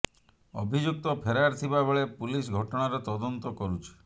ଅଭିଯୁକ୍ତ ଫେରାର ଥିବା ବେଳେ ପୁଲିସ ଘଟଣାର ତଦନ୍ତ କରୁଛି